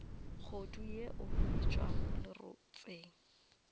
kgodu yeo e tšwago lerotseng